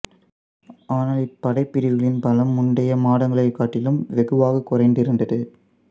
ஆனால் இப்படைப்பிரிவுகளின் பலம் முந்தைய மாதங்களைக் காட்டிலும் வெகுவாகக் குறைந்திருந்தது